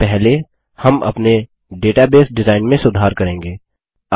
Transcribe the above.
पहले हम अपने डेटाबेस डिजाइन में सुधार करेंगे